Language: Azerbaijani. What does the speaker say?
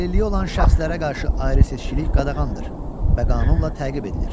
Əlilliyi olan şəxslərə qarşı ayrı-seçkilik qadağandır və qanunla təqib edilir.